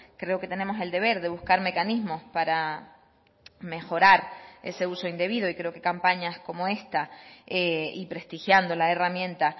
creo que tenemos el deber de buscar mecanismos para mejorar ese uso indebido y creo que campañas como esta y prestigiando la herramienta